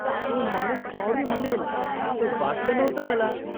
तो माणूस सॉरी म्हणेल असं वाटलं नव्हतं मला.